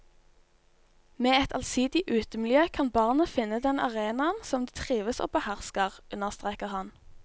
Med et allsidig utemiljø kan barne finne den arenaen som de trives og behersker, understreker han.